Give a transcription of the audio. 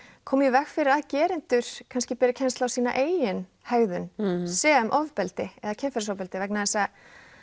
komi í veg fyrir að gerendur kannski beri kennslu á sína eigin hegðum sem ofbeldi kynferðisofbeldi vegna þess að